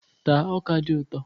Taa ọ́kà dị ụtọ!